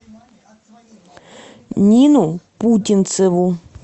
нину путинцеву